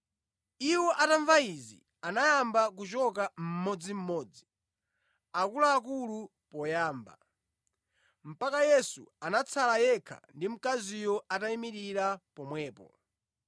Iwo atamva izi anayamba kuchoka mmodzimmodzi, akuluakulu poyamba, mpaka Yesu anatsala yekha ndi mkaziyo atayimirira pomwepo.